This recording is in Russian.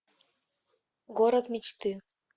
город мечты